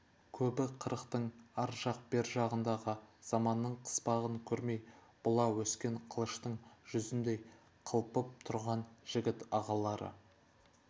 көбі қырықтың ар жақ бер жағындағы заманның қыспағын көрмей бұла өскен қылыштың жүзіндей қылпып тұрған жігіт ағалары